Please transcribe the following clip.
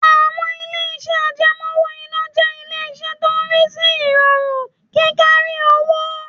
Àwọn ilé-iṣẹ́ àjẹmọ́ owó-ìná jẹ́ ilé iṣẹ́ tó ń rí sí ìrọ̀rùn kí kárí owó